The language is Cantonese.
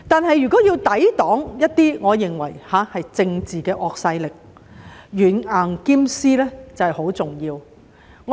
然而，若要抵擋一些我認為是政治的惡勢力，軟硬兼施便十分重要。